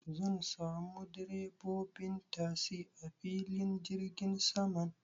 Zan samu direbobin tasi a filin jirgin saman